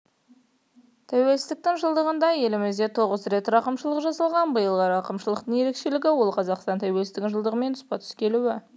тәуелсіздіктің жылдығында елімізде тоғыз рет рақымшылық жасалған биылғы рақымшылықтың ерекшелігі ол қазақстан тәуелсіздігінің жылдығымен тұспа-тұс келуі